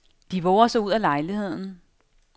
De vover sig ud af lejligheden.